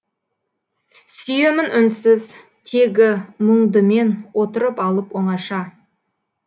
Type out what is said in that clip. сүйемін үнсіз тегі мұңды мен отырып алып оңаша